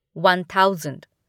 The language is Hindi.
one thousand